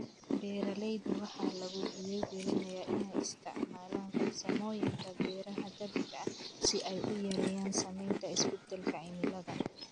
Beeraleyda waxaa lagu dhiirigelinayaa inay isticmaalaan farsamooyinka beeraha dabiiciga ah si ay u yareeyaan saamaynta isbeddelka cimilada.